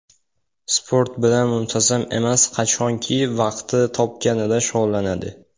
Sport bilan muntazam emas, qachonki vaqti topganida shug‘ullanadi.